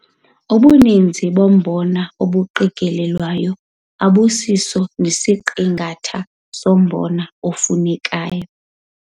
Ubuninzi bombona obuqikelelwayo abusiso nesiqingatha sombona ofunekayo.